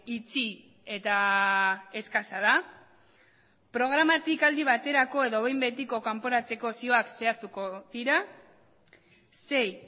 itxi eta eskasa da bost programa aldi baterako edo behin betiko kanporatzeko zioak zehaztuko dira sei